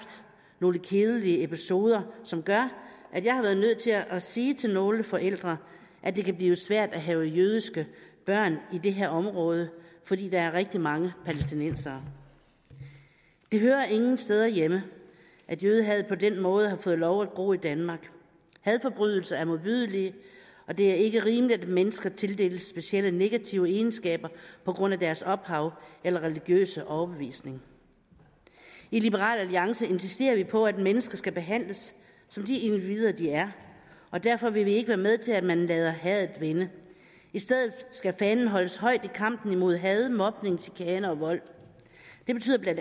nogle kedelige episoder som gør at jeg har været nødt til at sige til nogle forældre at det kan blive svært at have jødiske børn i det her område fordi der er rigtig mange palæstinensere det hører ingen steder hjemme at jødehad på den måde har fået lov at bo i danmark hadforbrydelser er modbydelige og det er ikke rimeligt at mennesker tildeles specielle negative egenskaber på grund af deres ophav eller religiøse overbevisning i liberal alliance insisterer vi på at mennesker skal behandles som de individer de er og derfor vil vi ikke være med til at man lader hadet vinde i stedet skal fanen holdes højt i kampen mod had mobning chikane og vold det betyder bla